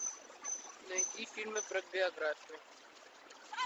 найди фильмы про биографию